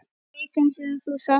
Fyrsti leikur sem þú sást?